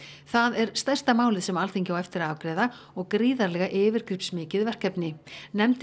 það er stærsta málið sem Alþingi á eftir að afgreiða og gríðarlega yfirgripsmikið verkefni nefndin